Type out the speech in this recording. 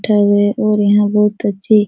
ठा हुए हैऔर यहाँ बहुत अच्छी --